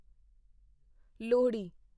Lohri